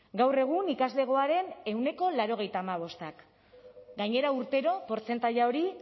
gaur egun ikaslegoaren ehuneko laurogeita hamabostak gainera urtero portzentaia hori